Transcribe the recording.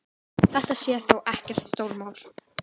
Þetta sé þó ekkert stórmál.